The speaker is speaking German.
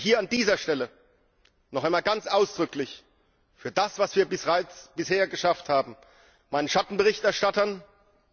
Ich möchte hier an dieser Stelle noch einmal ganz ausdrücklich für das, was wir bisher bereits geschafft haben, meinen Schattenberichterstattern danken.